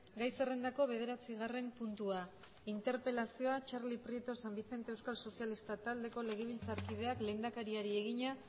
gai zerrendako bederatzigarren puntua interpelazioa txarli prieto san vicente euskal sozialistak taldeko legelbitzarkideak lehendakariari egina